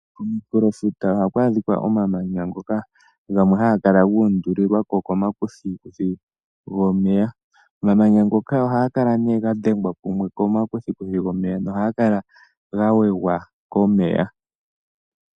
Kominkulofuta ohaku adhika omamanya ngoka gamwe haga kala guundulilwako komakuthikuthi gomeya . Omamanya ngoka ohaga kala ne ga dhengwa kumwe komakuthikuthi gomeya nohaga kala ga wegwa komeya.